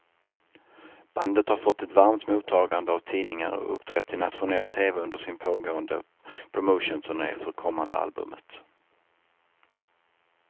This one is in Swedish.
Bandet har fått ett varmt mottagande av tidningar och uppträtt i nationell tv under sin pågående promotionturné för kommande albumet.